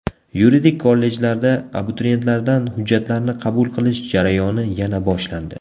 Yuridik kollejlarda abituriyentlardan hujjatlarni qabul qilish jarayoni yana boshlandi.